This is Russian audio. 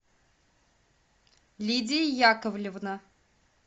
лидия яковлевна